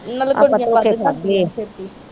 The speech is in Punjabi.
ਆਪਾ ਧੋਖੇ ਖਾਦੇ ਆ।